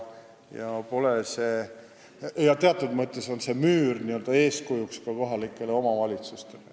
Teatud mõttes on see müür n-ö eeskujuks ka kohalikele omavalitsustele.